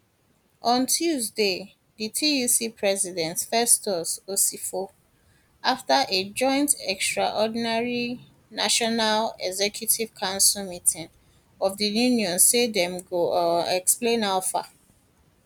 on tuesday di tuc president festus osifo afta a joint extraordinary national executive council meeting of di unions say dem go um explain how far